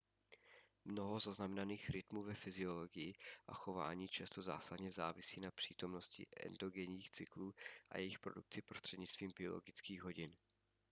mnoho zaznamenaných rytmů ve fyziologii a chování často zásadně závisí na přítomnosti endogenních cyklů a jejich produkci prostřednictvím biologických hodin